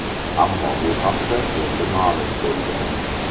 Ammo bu haqda endi ma’lum bo‘lgan.